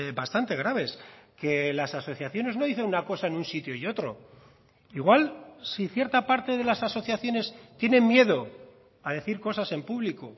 bastante graves que las asociaciones no dicen una cosa en un sitio y otro igual si cierta parte de las asociaciones tienen miedo a decir cosas en público